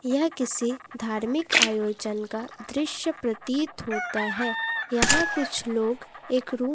यह किसी धार्मिक आयोजन का दृश्य प्रतीत होता है यहां कुछ लोग एक रूम --